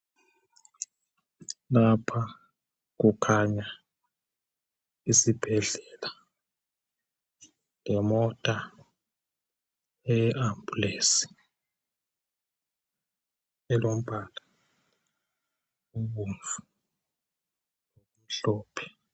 Lapha kukhanya isibhedlela lemota eye Ambulance elombala obomvu lomhlophe.